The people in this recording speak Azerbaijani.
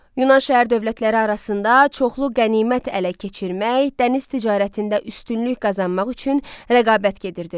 Yunan şəhər dövlətləri arasında çoxlu qənimət ələ keçirmək, dəniz ticarətində üstünlük qazanmaq üçün rəqabət gedirdi.